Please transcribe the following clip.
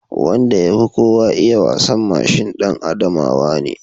Wanda ya fi kowa iya wasan mashin ɗan Adamawa ne